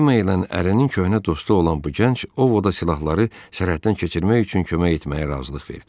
Cemma ilə ərin köhnə dostu olan bu gənc Ovoda silahları sərhəddən keçirmək üçün kömək etməyə razılıq verdi.